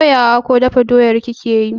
Soya wa ko dafa doyar kake yi?